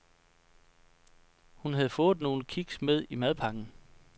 Hun havde fået nogle kiks med i madpakken.